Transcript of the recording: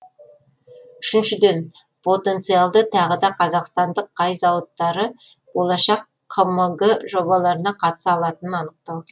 үшіншіден потенциалды тағы да қазақстандық қай зауыттары болашақ қмг жобаларына қатыса алатынын анықтау